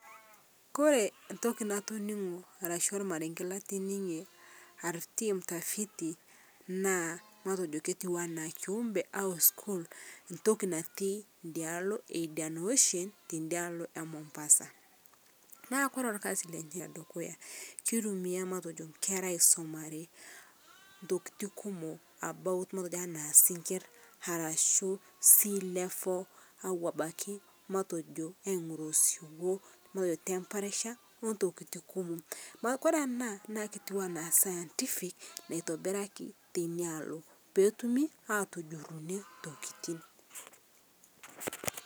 ore ormarenge natoningo naa naa entoki natoningo naa entoki natii idiaalo e mombasa naa ore orkasi lenye kisumieki nkera entoki naajo isinkir sea level, tempreeture ongulie ake kumook